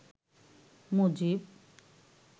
Mujib